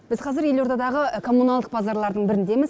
біз қазір елордадағы коммуналдық базарлардың біріндеміз